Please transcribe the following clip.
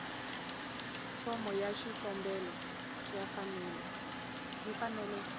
fomo ya xikombelo yi fanele